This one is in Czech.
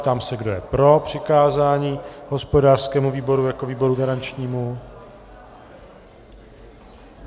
Ptám se, kdo je pro přikázání hospodářskému výboru jako výboru garančnímu.